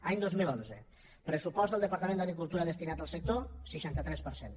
any dos mil onze pressupost del departament d’agricultura destinat al sector seixanta tres per cent